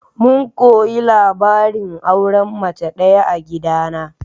Mun koyi labarin auren mace ɗaya a gidana.